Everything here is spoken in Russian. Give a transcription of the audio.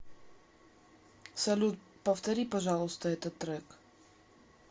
салют повтори пожалуйста этот трек